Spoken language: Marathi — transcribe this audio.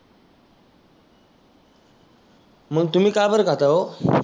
मग तुम्ही का बरं खाता ओ?